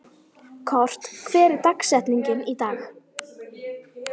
Kort, hver er dagsetningin í dag?